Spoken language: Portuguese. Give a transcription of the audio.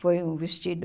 Foi um vestido...